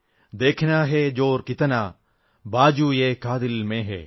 ദേഖനാ ഹൈ ജോർ കിതനാ ബാജുഏകാതിൽ മേം ഹൈ